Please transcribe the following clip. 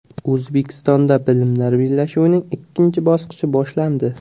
O‘zbekistonda bilimlar bellashuvining ikkinchi bosqichi boshlandi.